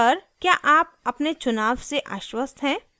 sir क्या आप अपने चुनाव से आश्वस्त है